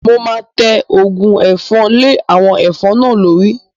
Mo máa tẹ Ògùn ẹ̀fọn lé àwọn ẹ̀fọn náà lórí